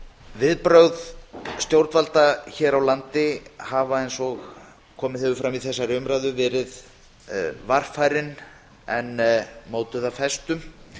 viðbrögð stjórnvalda hér á landi hafa eins og komið hefur fram í þessari umræðu verið varfærin en mótuð af festu